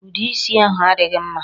Ude isi ahụ adịghị mma.